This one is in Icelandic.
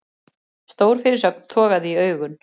Stór fyrirsögn togaði í augun